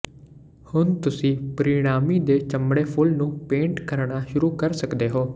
ਹੁਣ ਤੁਸੀਂ ਪਰਿਣਾਮੀ ਦੇ ਚਮੜੇ ਫੁੱਲ ਨੂੰ ਪੇਂਟ ਕਰਣਾ ਸ਼ੁਰੂ ਕਰ ਸਕਦੇ ਹੋ